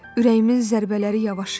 Ürəyimin zərbələri yavaşıyır.